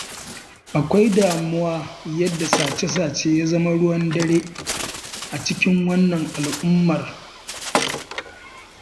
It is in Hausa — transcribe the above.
Akwai damuwa yadda sace-sace ya zama ruwan dare a cikin wannan al'ummar.